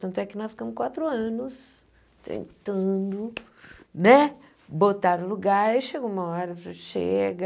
Tanto é que nós ficamos quatro anos tentando né botar o lugar e chega uma hora, falou chega...